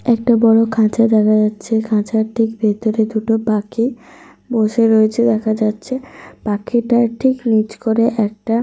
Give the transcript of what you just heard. একটা বড় খাঁচা দেখা যাচ্ছে। খাঁচার ঠিক ভিতরে দুটো পাখি বসে রয়েছে দেখা যাচ্ছে। পাখিটার ঠিক নিচ করে একটা।